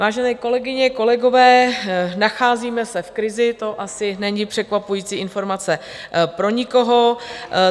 Vážené kolegyně, kolegové, nacházíme se v krizi, to asi není překvapující informace pro nikoho.